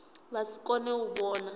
vha si kone u vhona